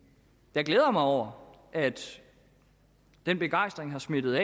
jeg glæder mig over at den begejstring har smittet